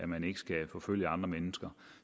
man ikke skal forfølge andre mennesker